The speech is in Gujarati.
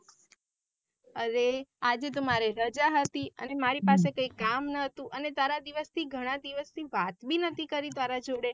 અરે આજે તો મારે રાજા હતી અને મારી પાસે કઈ કામ ના હતું અને તારા દિવસ થી ઘણા દિવસ થી વાત ભી નાતી કરી તારા જોડે.